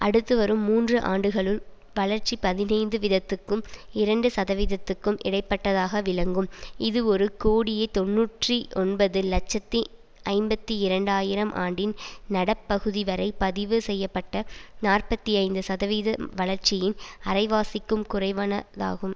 அடுத்து வரும் மூன்று ஆண்டுகளுள் வளர்ச்சி பதினைந்து வீதத்துக்கும் இரண்டு சதவீதத்துக்கும் இடைப்பட்டதாக விளங்கும் இது ஒரு கோடியே தொன்னூற்றி ஒன்பது இலட்சத்தி ஐம்பத்தி இரண்டு ஆயிரம் ஆண்டின் நடப்பகுதிவரை பதிவு செய்ய பட்ட நாற்பத்தி ஐந்து சதவீத வளர்ச்சியின் அரைவாசிக்கும் குறைவானதாகும்